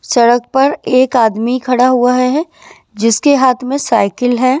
सड़क पर एक आदमी खड़ा हुआ है जिसके हाथ में साइकिल है।